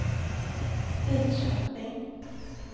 Lidköping